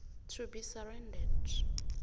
to be surrendered